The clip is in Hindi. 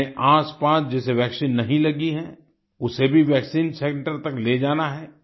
अपने आसपास जिसे वैक्सीन नहीं लगी है उसे भी वैक्सीन सेंटर तक ले जाना है